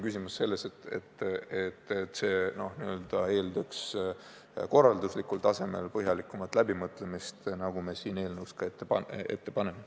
Süsteemi korralduslik külg eeldab põhjalikumat läbimõtlemist, nagu me siin eelnõus ka ette paneme.